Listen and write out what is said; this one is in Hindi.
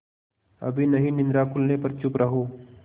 अभी नहीं निद्रा खुलने पर चुप रहो